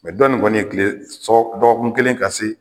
Mɛ dɔ ye tile sɔ dɔgɔkun kelen ka se